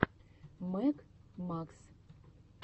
мэг макс